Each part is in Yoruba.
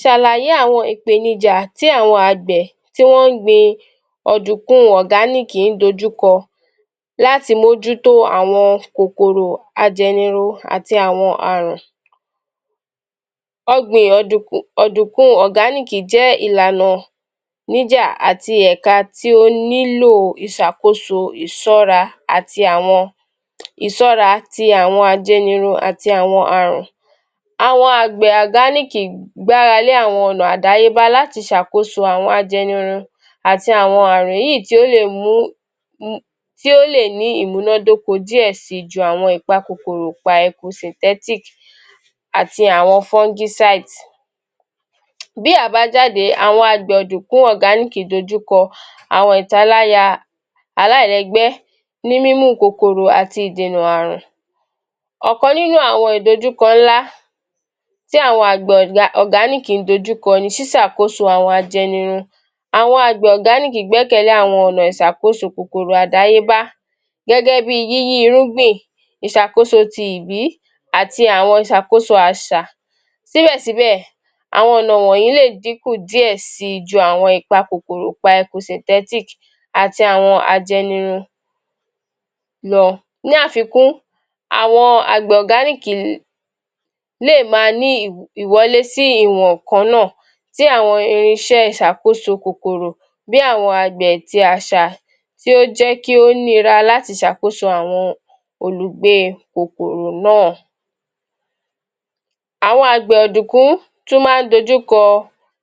Ṣàlàyé àwọn ìpè ìjà tí àwọn Àgbẹ̀ tí wón ń gbin ọ̀dùnkùn un ọ̀gáníìkì ń dojú kọ láti mójú tó àwọn kòkòrò ajẹniru àti àwọn àrùn. Ọgbìn ọ̀dùnkú ọdunkun un ọ̀gáníìkì jẹ́ ìlànọ̀ níjà àti ẹ̀ka tí ó nílò o ìṣàkóso ìṣọ́ra àti àwọn ìsọra tí àwọn ajẹniru àti àwọn àrùn. Àwọn Àgbẹ̀ àgáníìkì gbára lé àwọn ọ̀nà àdáyébá láti ṣàkóso àwọn ajẹniru àti àwọn àrùn yìí tí ó lè mú tí ó lè ní ìmúnádóko díẹ̀ si ju àwọn ìpa kòkòrò pa eku sìtẹ́tik àti àwọn fọngúsáìtì. Bí àbájáde àwọn àgbẹ̀ ọ̀dùnkú ọ̀gáníìkì dojúkọ àwọn ìtaláyà aláìlẹ́gbẹ́ ní mímú un kòkòrò àti ìdènà àrùn. Ọ̀kan nínú àwọn ìdojúkọ ńlá tí àwọn àgbẹ̀ ọ̀gáníìkì ń dojúkọ ni sísàkóso àwọn ajẹnirun. Àwọn àgbẹ̀ ọ̀gáníìkì gbẹ́kẹ̀lé àwọn ọ̀nà ìṣàkóso kòkòrò àdáyébá gẹ́gẹ́ bí i, yíyí irúgbìn, ìṣàkóso ti ìbí àti àwọn ìsàkóṣo àṣa. Síbẹ̀síbẹ̀, àwọn ọ̀nà wọ̀nyí lè dínkù díẹ̀ sí i ju àwọn ìpa kòkòrò pa eku sìntẹtiki àti àwọn ajẹnirun lọ. Ní àfikún, àgbẹ̀ ọ̀gáníìkì lè um le maa ni ìwọlé sí ìwọ̀n kan náà tí àwọn irinṣẹ́ṣàkóso kòkòrò bí àwọn agbẹ̀ tí aṣà tí ó jẹ́ kí ó nira láti ṣàkóso àwọ̀n Olùgbé ẹ kòkòrò náà. Àwọn àgbẹ̀ ọ̀dùnkún tún máa ń dojúkọ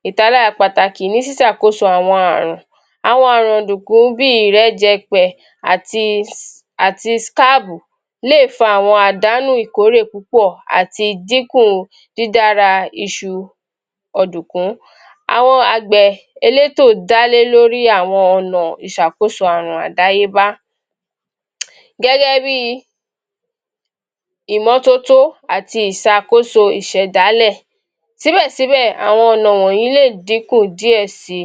ìtalára pàtàkì ní sísàkóso àwọn àrùn. Àwọn àrùn ọ̀dùnkún bí i ìrẹ́jẹpẹ̀ àti àti skáàbù lè fa àwọn àdánù ìkórè púpọ̀ àti díkù dídára iṣu ọ̀dùnkún. Àwọn àgbẹ̀ elétò dálé lórí àwọn ọ̀na ìṣàkóso àrùn àdáyébá. Gẹ́gẹ́ bí i ìmọ́tótó àti ìṣàkóso ìṣẹ̀dálẹ̀, Síbẹ̀síbẹ̀, àwọn ọ̀nà wọ̀nyí lè dínkù díẹ̀ si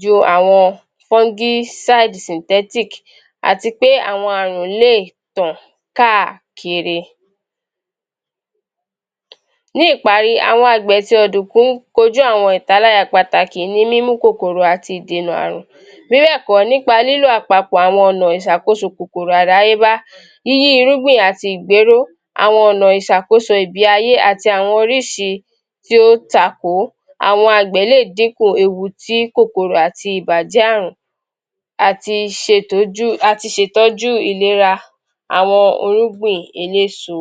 ju àwọn fún gí saìtì, sìntẹ́tìkì àti pé àwọn àrùn le tàn káà kiri. Ní ìparí, àgbẹ̀ ti ọ̀dùnkún kojú àwọn itáláyà pàtàkì ní mímú kòkòrò àti ìdèna àrùn, bí bẹẹ̀kọ, nípa lílo àpapọ̀ àwọn ọ̀nà ìsàkóso ìbí ayé àti àwọn oríṣi tí ó ta kò ó. Àwọn àgbẹ̀ lè dínkù ewu ti kòkòrò àti ìbàjẹ́ àrùn àti ṣètọ́jú àti ṣètọ́jú ìlera àwọn orúngbìn eléso.